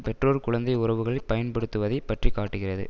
பெற்றோர் குழந்தை உறவுகளை பயன்படுத்துவதைப் பற்றி காட்டுகிறது